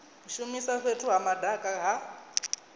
shumisa fhethu ha madaka ha